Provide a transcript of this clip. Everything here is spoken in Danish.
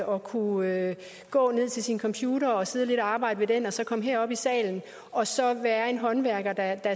og kunne gå ned til sin computer og sidde lidt og arbejde ved den og så komme herop i salen og så at være en håndværker der